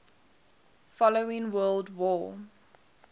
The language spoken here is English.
following world war